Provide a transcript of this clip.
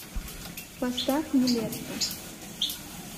поставь нилетто